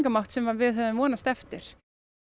fælingamátt sem við höfum vonast eftir